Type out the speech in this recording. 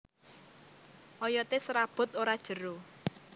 Oyoté serabut ora jero